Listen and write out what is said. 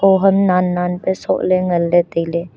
khoham nan nan pe sochle ngan ley taile.